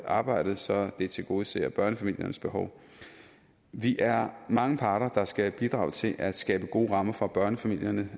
arbejdet så det tilgodeser børnefamiliernes behov vi er mange parter der skal bidrage til at skabe gode rammer for børnefamilierne